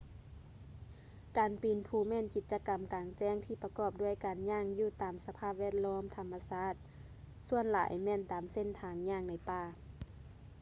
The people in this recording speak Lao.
ການປີນພູແມ່ນກິດຈະກໍາກາງແຈ້ງທີ່ປະກອບດ້ວຍການຍ່າງຢູ່ຕາມສະພາບແວດລ້ອມທຳມະຊາດ ສ່ວນຫຼາຍແມ່ນຕາມເສັ້ນທາງຍ່າງໃນປ່າ